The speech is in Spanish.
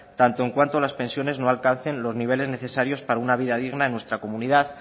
tanto en cuanto las pensiones no alcancen los niveles necesarios para una vida digna en nuestra comunidad